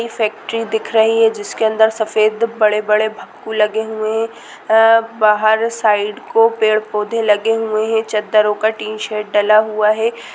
ये फैक्ट्री दिख रही है जिसके अंदर सफेद बड़े-बड़े भक्कू लगे हुए हैं बाहर साइड को पेड़ पौधे लगे हुए हैं चद्दरो का टीन शेड डला हुआ हैं।